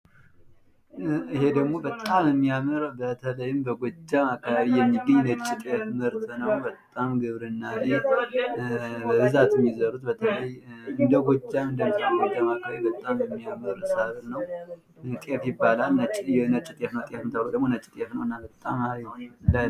ይህ ደግሞ በጣም የሚያምር በተለይ በጎጃም አካባቢ የሚገኝ የነጭ ጤፍ ምርት ነው። በጣም ላይ የሚዘሩት ምርት ነው በጣም የሚያምር ሰብል ነው ጤፍ ይባላል ጤፍ ተብሎም የነጭ ጤፍ አይነት ነው።